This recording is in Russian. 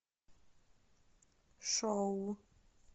шоу